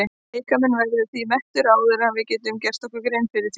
Líkaminn verður því mettur áður en við gerum okkur grein fyrir því.